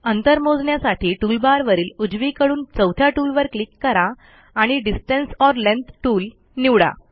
अंतर मोजण्यासाठी टूलबारवरील उजवीकडून चौथ्या टूलवर क्लिक करा आणि डिस्टन्स ओर लेंग्थ टूल निवडा